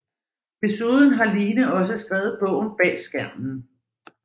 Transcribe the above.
Desuden har Line også skrevet bogen Bag skærmen